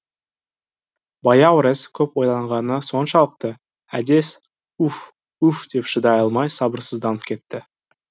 баяурес көп ойланғаны соншалықты әдес уф уф деп шыдай алмай сабырсызданып кетті